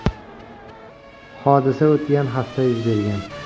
Hodisa o‘tgan hafta yuz bergan.